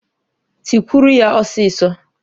Tikwuru ya ọsịsọ!